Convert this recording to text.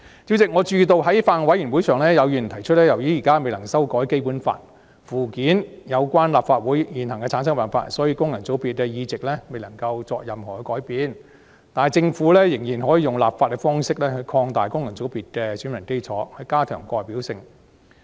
主席，我注意到在法案委員會的會議上，有議員提出由於現時未能修改《基本法》附件有關立法會的現行產生辦法，所以功能界別的議席未能有任何改變，但政府仍可以立法方式擴大功能界別的選民基礎，以加強代表性。